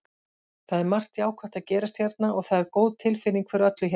Það er margt jákvætt að gerast hérna og það er góð tilfinning fyrir öllu hérna.